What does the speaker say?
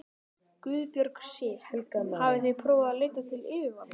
Guðbjörg Sif: Hafið þið prófað að leita til yfirvalda?